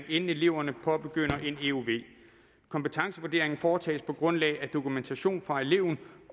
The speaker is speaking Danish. inden eleverne påbegynder en euv kompetencevurderingen foretages på grundlag af dokumentation fra eleven